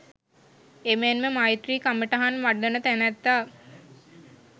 එමෙන්ම මෛත්‍රී කමටහන් වඩන තැනැත්තා